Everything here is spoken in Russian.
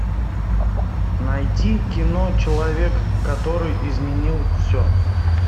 найти кино человек который изменил все